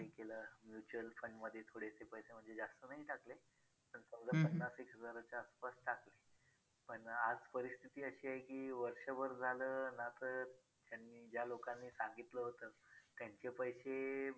कुठे आपण म्हणजे ज्या गड किल्यावर वर जातो आपण तिकडे आपल्याला घान नाही करायचे किंवा आपलं तिकडं काय म्हणजे आपल्याकडून काय खराब होईल किंवा नुकसान होईल का ही एक गोष्ट करायची नाहीये. मग बोलतात ना हळूहळू थेंब थेंबे तळे साचे तसं होईल आणि हळूहळू आपल्या~